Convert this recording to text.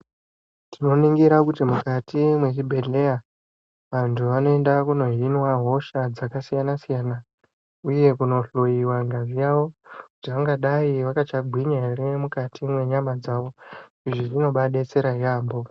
Tinoningira kuti mukati mwezvibhehleya vantu vanoenda kunohinwa hosha dzakasiyana-siyana uye kunohloyiwa ngazi yavo kuti vangadai vakachagwinya ere mukati mwenyama dzavo. Izvi zvinobadetsera yaamho.